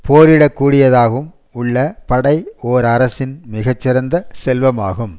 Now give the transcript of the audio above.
போரிட கூடியதாகவும் உள்ள படை ஓர் அரசின் மிகச்சிறந்த செல்வமாகும்